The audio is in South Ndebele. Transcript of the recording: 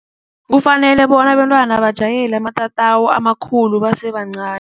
Kufanele bona abentwana bajwayele amatatawu amakhulu basebancani.